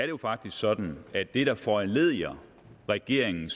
jo faktisk sådan at det der foranlediger regeringen